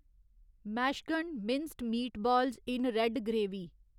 मैट्सचगंड minced meatballs in red gravy